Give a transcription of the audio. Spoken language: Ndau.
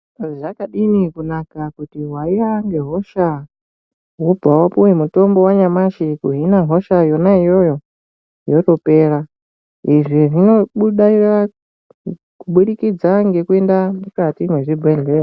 Zvakadini kunaka kuti waiya ngehosha wobva wapuwa mutombowanyamashi wehosha yona iyoyo yotopera .Izvi zvinobudaira kuburikidza ngekuenda mukati mwezvibhehlera.